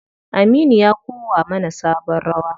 Aminu ya kowa mana sabon rawa.